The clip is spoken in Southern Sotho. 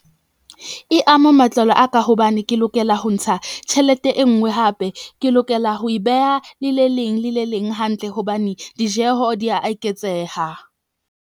E ama matlalo a ka hobane ke lokela ho ntsha tjhelete e nngwe hape. Ke lokela ho e beha le le leng le le leng hantle hobane dijeho di a eketseha.